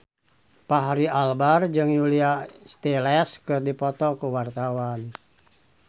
Fachri Albar jeung Julia Stiles keur dipoto ku wartawan